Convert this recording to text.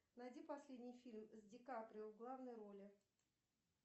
найди последний фильм с ди каприо в главной роли